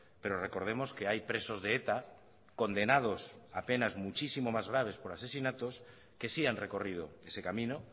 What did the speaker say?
pero recordemos que hay presos de eta condenados a penas muchísimos más graves por asesinatos que sí han recorrido ese camino